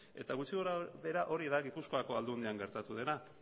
eta gutxi gorabehera hori da gipuzkoako aldundian gertatu dena